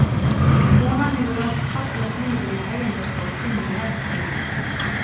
Konan hefur látið fallast niður í hægindastól inni í herberginu.